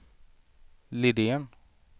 Liden